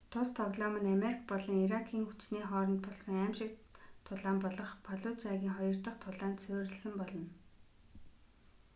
тус тоглоом нь америк болон иракийн хүчний хооронд болсон аймшигт тулаан болох фаллужагийн хоёр дах тулаанд суурьласан болно